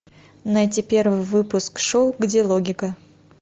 найти первый выпуск шоу где логика